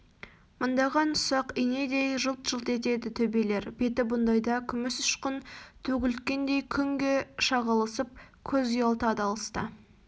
мындаған ұсақ инедей жылт-жылт етеді төбелер беті бұндайда күміс үшқын төгілткендей күнге шағылысып көз ұялтады алыста